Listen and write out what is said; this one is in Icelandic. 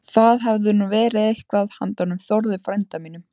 Það hefði nú verið eitthvað handa honum Þórði frænda mínum!